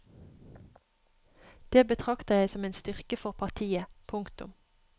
Det betrakter jeg som en styrke for partiet. punktum